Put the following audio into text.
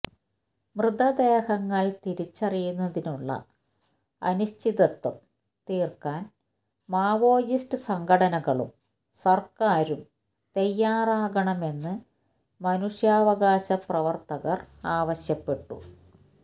മൃതദേഹങ്ങൾ തിരിച്ചറിയുന്നതിലുള്ള അനിശ്ചിതത്വം തീർക്കാൻ മാവോയിസ്റ്റ് സംഘടനകളും സർക്കാരും തയ്യാറാകണമെന്ന് മനുഷ്യാവകാശപ്രവർത്തകർ ആവശ്യപ്പെട്ടു